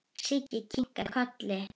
Siggi kinkaði kolli.